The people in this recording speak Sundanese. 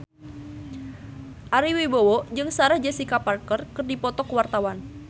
Ari Wibowo jeung Sarah Jessica Parker keur dipoto ku wartawan